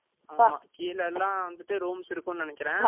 ஆமா, கீழ எல்லாம் வந்துட்டு, rooms இருக்கும்ன்னு நினைக்கிறேன்